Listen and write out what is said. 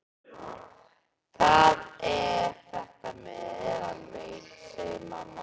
Það er þetta með meðalveginn, segir mamma.